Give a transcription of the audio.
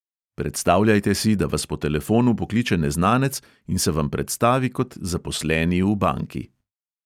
Predstavljajte si, da vas po telefonu pokliče neznanec in se vam predstavi kot zaposleni v banki.